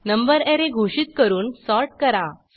number array घोषित करून sort करा